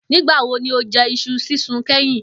Nígbà wo ni o je̩ is̩u sísun ké̩yìn?